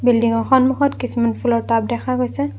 Building ৰ সন্মুখত কিছুমান ফুলৰ টাব দেখা গৈছে।